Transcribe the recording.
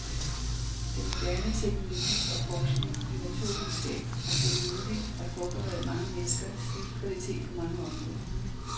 Den moderne teknologi og forskning i naturvidenskab har gjort det muligt at forbedre mange menneskers livskvalitet på mange områder.